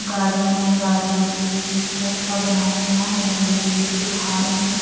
Garden है garden के बीच में से रास्ता बना हुआ है लंबी लंबी से झाड़ हैं।